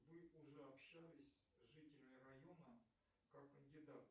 вы уже общались с жителями района как кандидат